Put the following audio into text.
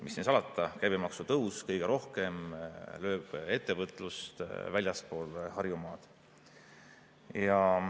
Mis siin salata, käibemaksu tõus lööb kõige rohkem ettevõtlust väljaspool Harjumaad.